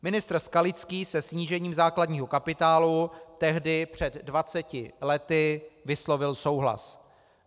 Ministr Skalický se snížením základního kapitálu tehdy před 20 lety vyslovil souhlas.